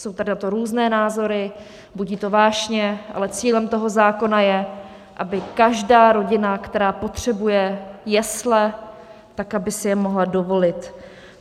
Jsou tady na to různé názory, budí to vášně, ale cílem toho zákona je, aby každá rodina, která potřebuje jesle, tak aby si je mohla dovolit.